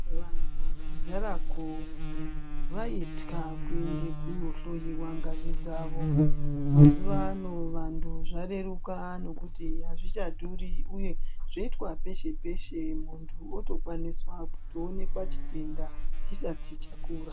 Vantu kudharako, vaitya kuende kunohloiwa ngazi dzavo. Mazuva ano vantu zvareruka nekuti azvichadhuri uye, zvoitwa peshe-peshe muntu otokwaniswa kuonekwa chitenda chisati chakura.